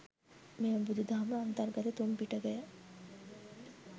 මෙම බුදු දහම අන්තර්ගත තුන් පිටකය